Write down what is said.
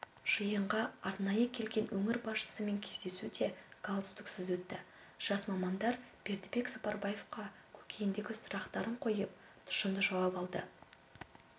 жиынға арнайы келген өңір басшысымен кездесу де галстуксыз өтті жас мамандар бердібек сапарбаевқа көкейіндегі сұрақтарын қойып тұшымды жауап алды